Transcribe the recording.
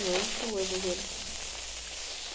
Não é eram shows evangélicos.